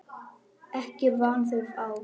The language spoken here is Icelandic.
Ekki er vanþörf á.